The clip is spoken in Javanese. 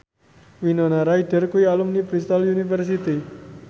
Winona Ryder kuwi alumni Bristol university